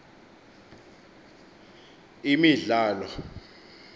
imidlalo